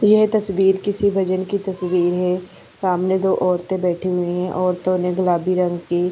ये तस्वीर किसी बजन की तस्वीर है सामने कोई ओरते बेठी हुई है ओरतो ने गुलाबी रंग की--